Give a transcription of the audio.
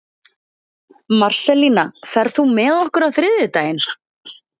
Marselína, ferð þú með okkur á þriðjudaginn?